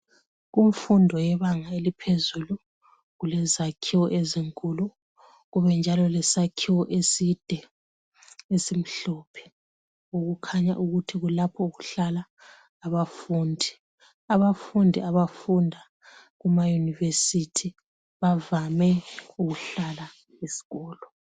Kumfundo yebanga eliphezulu kulezakhiwo ezinkulu kubenjalo lesakhiwo eside esimhlophe okukhanya ukuthi kulapho okuhlala abafundi. Abafundi abafunda kuma yunivesithi bavame ukuhlala esikolo.